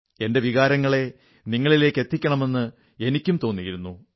എന്റെ വികാരങ്ങളെ നിങ്ങളിലേക്കെത്തിക്കണമെന്ന് എനിക്കും തോന്നിയിരുന്നു